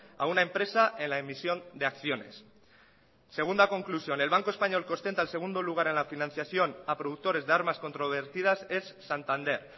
a una empresa en la emisión de acciones segunda conclusión el banco español que ostenta el segundo lugar en la financiación a productores de armas controvertidas es santander